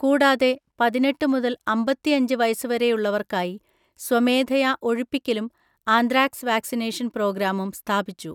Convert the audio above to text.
കൂടാതെ, പതിനെട്ട് മുതൽ അമ്പത്തിഅഞ്ച് വയസ്സുവരെയുള്ളവർക്കായി സ്വമേധയാ ഒഴിപ്പിക്കലും ആന്ത്രാക്സ് വാക്സിനേഷൻ പ്രോഗ്രാമും സ്ഥാപിച്ചു.